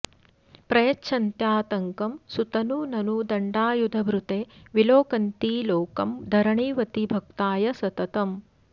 प्रयच्छन्त्यातङ्कं सुतनु ननु दण्डायुधभृते विलोकन्ती लोकं धरणिवति भक्ताय सततम्